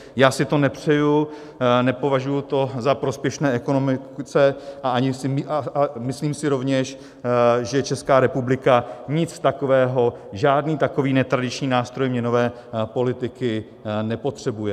Já si to nepřeju, nepovažuji to za prospěšné ekonomice a myslím si rovněž, že Česká republika nic takového, žádný takový netradiční nástroj měnové politiky, nepotřebuje.